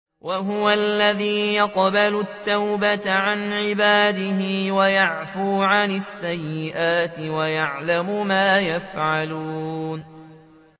وَهُوَ الَّذِي يَقْبَلُ التَّوْبَةَ عَنْ عِبَادِهِ وَيَعْفُو عَنِ السَّيِّئَاتِ وَيَعْلَمُ مَا تَفْعَلُونَ